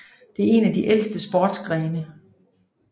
Det er en af de ældste sportsgrene